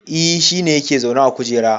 E, shi ne yake zaune a kujera